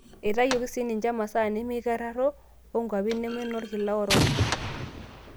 Eitayioki si ninje masaa nemeikararrao oonkwapi neme nolkila orok.